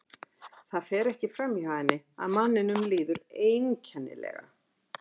Það fer ekki fram hjá henni að manninum líður einkenni- lega.